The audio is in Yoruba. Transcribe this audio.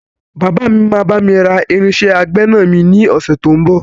Bàbá mi máa bami ra irinsẹ́ àgbẹ̀na mi ni ọ̀sẹ̀ tó ń bọ̀.